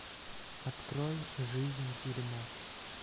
открой жизнь дерьмо